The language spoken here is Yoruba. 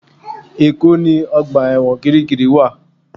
Èkó ni ọgbà ẹ̀wọ̀n Kirikiri wa